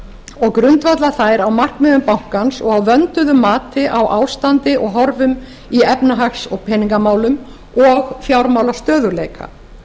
og grundvalla þær á markmiðum bankans og á vönduðu mati á ástandi og horfum í efnahags og peningamálum og fjármálastöðugleika